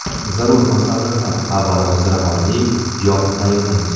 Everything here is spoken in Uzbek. Zarur masalliqlar: Avvalo ziravorli yog‘ni tayyorlaymiz.